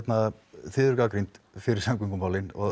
þið eruð gagnrýnd fyrir samgöngumálin og